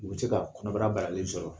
U bɛ se ka kɔnɔbara balalen sɔrɔ